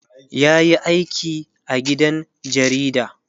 yayi aiki a gidan jarida